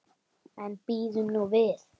En bíðum nú við.